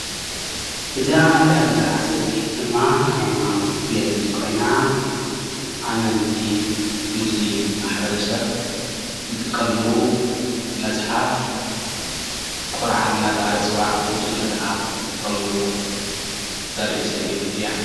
እዚኣ እንሪኣ ዘለና ስእሊ ድማ ሃይማኖት ዝገልፅ ኮይና ኣመንቲ ሙስሊም ማሕበረሰብ ዝጥቀምሉ መፅሓፍ ቁርኣን እናተባሃለ ዝፅዋዕ ቅዱስ መፅሓፍ ዝጥቀምሉ ተርኢ ስእሊ እያ፡፡